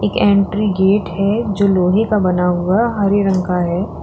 ये entry gate है जो लोहे का बना हुआ हरे रंग का है।